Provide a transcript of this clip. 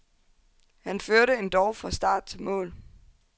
Han førte endog fra start til mål.